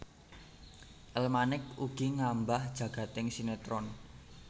El Manik ugi ngambah jagading sinetron